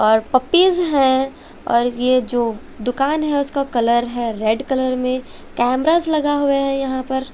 और पप्पीज है और ये जो दुकान है उसका कलर है रेड कलर में कैमराज लगा हुआ है यहां पर--